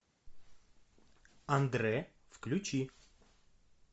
андре включи